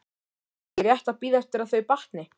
Er ekki rétt að bíða eftir að þau batni?